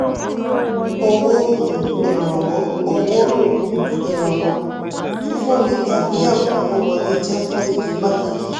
owó um ìrànwọ́: owó um ìrànwọ́: fífúnni tàbí ẹ̀bùn owó wọlé jẹ́ fún ìdí pàtàkì.